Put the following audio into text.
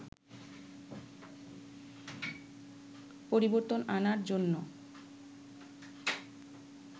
পরিবর্তন আনার জন্য